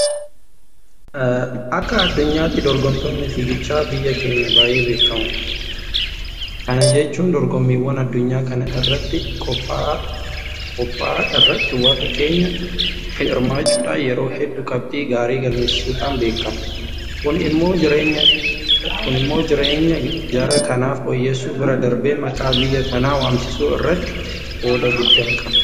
Akka addunyaatti dorgomtoonni Fiigichaa biyya keenyaa baay'ee beekamoodha. Kana jechuun dorgommiiwwan addunyaa kana irratti qophaa'a irratti warri keenyaa hirmaachuudhaan yeroo hedduu qabxii gaarii galmeessisuudhaan beekamu. Kun immoo jireenya jara kanaa fooyyessuu bira darbee maqaa biyya kanaa waamsisuu irratti qooda guddaa qaba.